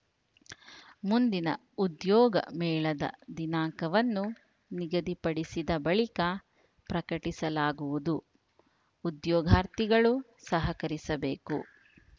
ಮುಂದಿನ ಉದ್ಯೋಗ ಮೇಳದ ದಿನಾಂಕವನ್ನು ನಿಗದಿಪಡಿಸಿದ ಬಳಿಕ ಪ್ರಕಟಿಸಲಾಗುವುದು ಉದ್ಯೋಗಾರ್ಥಿಗಳು ಸಹಕರಿಸಬೇಕು